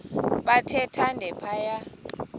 bathe thande phaya